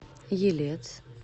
елец